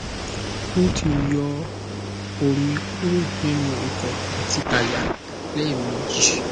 o ti yọ omi kuro ninu ikun ati àyà lẹmeji